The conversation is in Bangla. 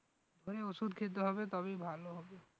ওই ওষুধ খেতে হবে তবেই ভালো হবে